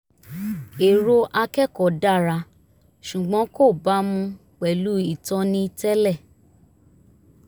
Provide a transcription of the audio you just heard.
èrò akẹ́kọ̀ọ́ dára ṣùgbọ́n kò bámu pẹ̀lú ìtọ́ni tẹ́lẹ̀